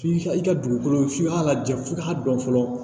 F'i ka i ka dugukolo f'i k'a lajɛ f'i k'a dɔn fɔlɔ